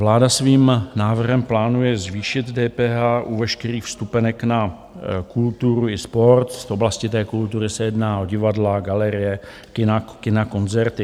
Vláda svým návrhem plánuje zvýšit DPH u veškerých vstupenek na kulturu i sport z oblasti té kultury se jedná o divadla, galerie, kina, koncerty.